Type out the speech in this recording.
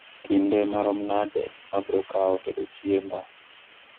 kinde marom nade ma bro kaw tedo chiemba